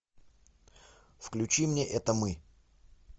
включи мне это мы